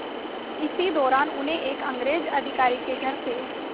इसी दौरान उन्हें एक अंग्रेज़ अधिकारी के घर से